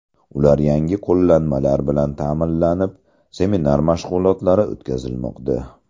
Ular yangi qo‘llanmalar bilan ta’minlanib, seminar mashg‘ulotlari o‘tkazilmoqda.